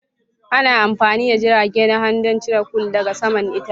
Ana amfani da jirage na hannu don cire curls daga saman itace.